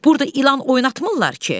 Burda ilan oynatmırlar ki.